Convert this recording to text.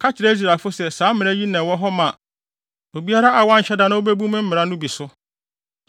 “Ka kyerɛ Israelfo se saa mmara yi na ɛwɔ hɔ ma obiara a wanhyɛ da na obebu me mmara no bi so.